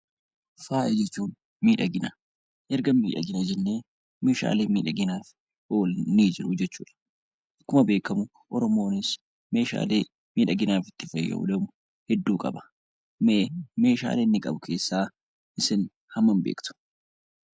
Faaya jechuun miidhagina. Erga miidhagina jennee meeshaaleen miidhaginaaf oolan ni jiru jechuu dha. Akkuma beekamu Oromoonis meeshaalee miidhaginaaf itti fayyadamu hedduu qaba. Mee meeshaalee inni qabu keessaa isin hammam beektu?